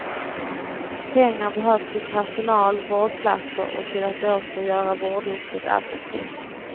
Pengar behövs till personal, vårdplatser och till att åter göra vårdyrket attraktivt.